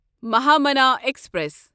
Mahamana express